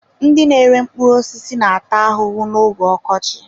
Ndị na-ere mkpụrụ osisi na-ata ahụhụ n'oge ọkọchị.